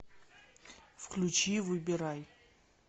включи выбирай